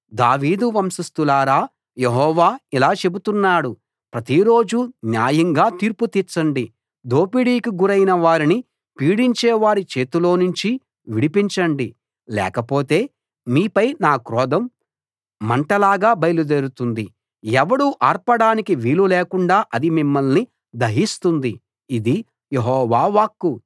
దావీదు వంశస్థులారా యెహోవా ఇలా చెబుతున్నాడు ప్రతిరోజూ న్యాయంగా తీర్పు తీర్చండి దోపిడీకి గురైన వారిని పీడించేవారి చేతిలోనుంచి విడిపించండి లేకపోతే మీపై నా క్రోధం మంటలాగా బయలుదేరుతుంది ఎవడూ ఆర్పడానికి వీలు లేకుండా అది మిమ్మల్ని దహిస్తుంది ఇది యెహోవా వాక్కు